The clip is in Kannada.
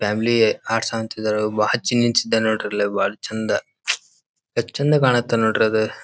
ಫ್ಯಾಮಿಲಿ ಹೌರ್ಸ್ ಅಂತ ಇದ್ರಿ ಹಚ್ಚಿ ನಿಂತಿದ್ದ ನೋಡ್ರಿ ಅಲ್ಲಿ ಬಹಳ ಚಂದ ಎಸ್ಟ್ ಚಂದ ಕಾಣುತ್ತೆ ನೋಡ್ರಿ ಅದ.